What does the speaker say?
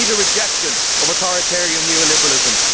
We need a rejection of authoritarian neo liberalism.